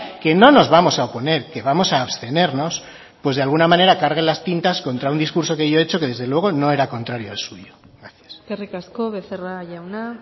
que no nos vamos a oponer que vamos a abstenernos pues de alguna manera carguen las tintas contra un discurso que yo he hecho que desde luego no era contrario al suyo gracias eskerrik asko becerra jauna